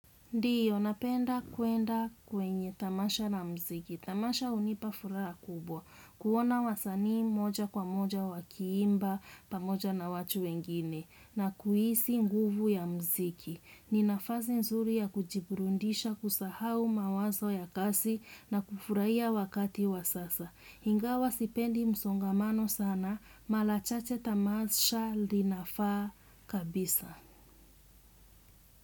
Ndiyo, napenda kuenda kwenye tamasha la mziki. Tamasha unipa furaha la kubwa. Kuona wasanii moja kwa moja wakiimba pamoja na watu wengine. Na kuhisi nguvu ya mziki. Ninafasi nzuri ya kujiburundisha kusahau mawazo ya kasi na kufuraia wakati wa sasa. Ingawa sipendi msongamano sana, malachache tamasha linafaa kabisa.